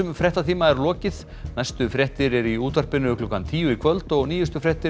fréttatíma er lokið næstu fréttir eru í útvarpinu klukkan tíu í kvöld og nýjustu fréttir